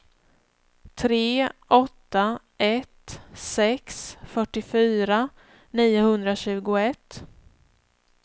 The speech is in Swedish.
tre åtta ett sex fyrtiofyra niohundratjugoett